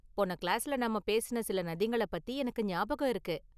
போன கிளாஸ்ல நாம பேசுன சில நதிங்கள பத்தி எனக்கு ஞாபகம் இருக்கு.